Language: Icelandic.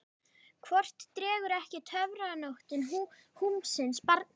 Hvort dregur ekki töfranóttin húmsins barn til sín?